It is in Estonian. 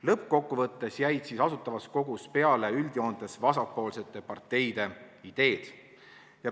Lõppkokkuvõttes jäid Asutavas Kogus peale üldjoontes vasakpoolsete parteide ideed.